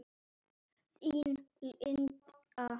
Þín, Linda.